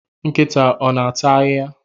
Nkịta ọ na-ata ahịhịa?